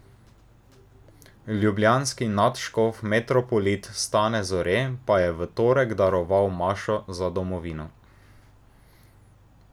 Ljubljanski nadškof metropolit Stane Zore pa je v torek daroval mašo za domovino.